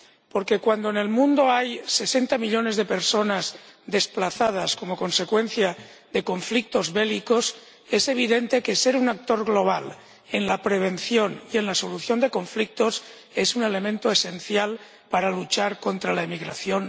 Porque, cuando en el mundo hay sesenta millones de personas desplazadas como consecuencia de conflictos bélicos, es evidente que ser un actor global en la prevención y en la solución de conflictos es un elemento esencial para luchar contra la emigración.